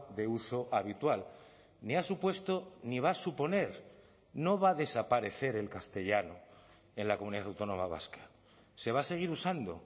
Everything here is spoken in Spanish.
de uso habitual ni ha supuesto ni va a suponer no va a desaparecer el castellano en la comunidad autónoma vasca se va a seguir usando